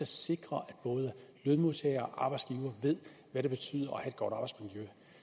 sikre at både lønmodtagere og arbejdsgivere ved hvad det betyder at godt arbejdsmiljø